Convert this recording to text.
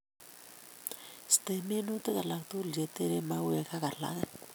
Iste minutik alak tugul che tereen mauek ak alage